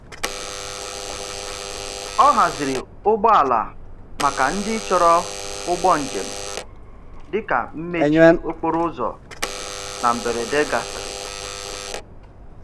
Ọ haziri ụgbọala maka ndị chọrọ ụgbọ njem dị ka mmechi okporoụzọ na mberede gasịrị.